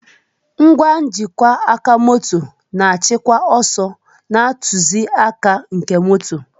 Ngwa njikwa moto na-achịkwa ọsọ na ntụzịaka nke moto.